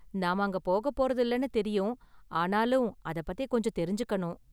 நாம அங்க போகப் போறதில்லைனு தெரியும், ஆனாலும் அத பத்தி கொஞ்சம் தெரிஞ்சுக்கணும்.